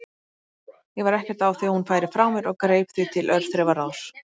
Ég var ekkert á því að hún færi frá mér og greip því til örþrifaráðs.